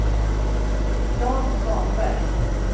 Jan Svanberg